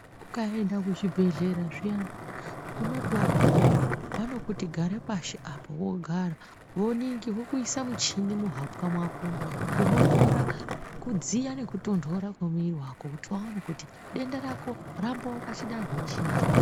Ukaenda kuchibhedhleya zviyane unoti wagumeyo vanokuti gara pashi apa wogara vokuisa muchini muhapwa mwako unotora kudziya nekutondora kwemuiri wako kuti vaone kuti denda rako rambo pachidanho chiri.